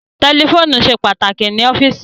Tẹlifóònù ṣe pàtàkì ní ọ́fíìsì